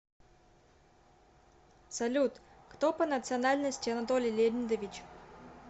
салют кто по национальности анатолий леонидович